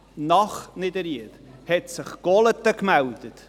Nach Niederried hat sich Golaten gemeldet;